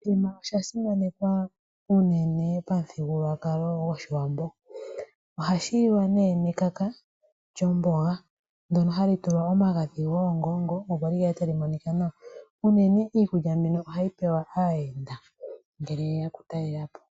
Oshithima osha simanekwa unene pamuthigululwakalo goshiwambo. Oha shi liwa nee nekaka lyomboga ndono hali tulwa omagadhi goongongo opo li kale tali monika nawa. Unene iikulya mbino ohayi liwa kaayenda ngele yeya oku talela po.